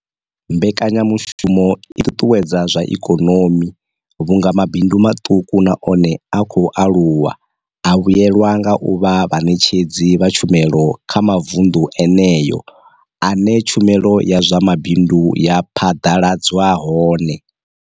Mbekanyamushumo i ṱuṱuwedza zwa ikonomi vhunga mabindu maṱuku na one a khou aluwa a vhuelwa nga u vha vhaṋetshedzi vha tshumelo kha mavundu eneyo ane tshumelo ya zwa mabindu ya phaḓaladzwa hone.